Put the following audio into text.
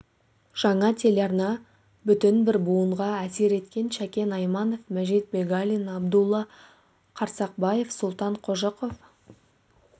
жаңа телеарна бүтін бір буынға әсер еткен шәкен айманов мәжит бегалин абдулла қарсақбаев сұлтан қожықов